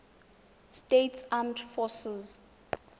states armed forces